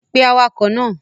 Pe awakọ̀ náà!